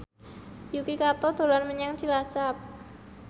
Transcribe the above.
Yuki Kato dolan menyang Cilacap